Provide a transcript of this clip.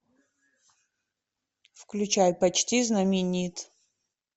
включай почти знаменит